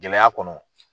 Gɛlɛya kɔnɔ